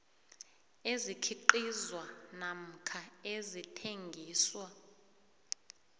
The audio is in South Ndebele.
ezikhiqizwa namkha ezithengiswa